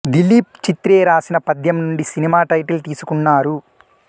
దిలీప్ చిత్రే రాసిన పద్యం నుండి సినిమా టైటిల్ తీసుకున్నారు